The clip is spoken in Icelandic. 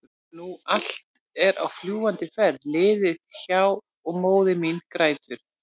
nú allt er á fljúgandi ferð liðið hjá- og móðir mín grætur.